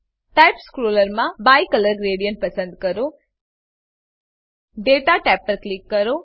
type સ્ક્રોલરમાં bicolour gradient પસંદ કરો દાતા ટેબ પર ક્લિક કરો